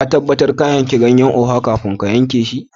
Ka tabatar ka yanki ganyen oha kafin ka Anke shi?